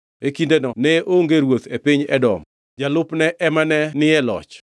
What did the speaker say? E kindeno ne onge ruoth e piny Edom, jalupne ema ne ni e loch.